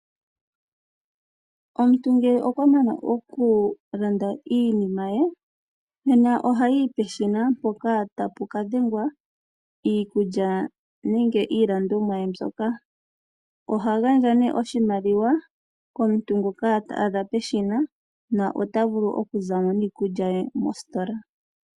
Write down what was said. Omuntu ngele okwa mana okulanda iinima ye, nena ohayi peshina mpoka ta pu ka dhengwa iikulya ye nenge iilandomwa ye mbyoka. Oha gandja nee oshimaliwa komuntu ngoka ta adha peshina na ota vulu oku za mo niikulya ye mositola.